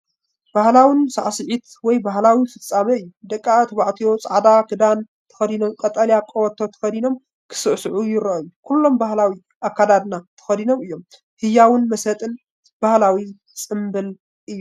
ባህላዊ ሳዕስዒት ወይ ባህላዊ ፍጻመ እዩ። ደቂ ተባዕትዮ ጻዕዳ ክዳን ተኸዲኖም ቀጠልያ ቀበቶ ተኸዲኖም ክስዕስዑ ይረኣዩ፤ ኩሎም ባህላዊ ኣከዳድና ተኸዲኖም እዮም። ህያውን መሳጥን ባህላዊ ጽምብል እዩ፡፡